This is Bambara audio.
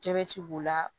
Jabɛti b'o la